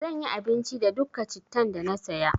Zan yi abinci da dukka cittan da na saya.